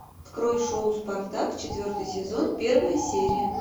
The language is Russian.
открой шоу спартак четвертый сезон первая серия